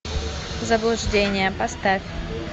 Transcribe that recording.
заблуждение поставь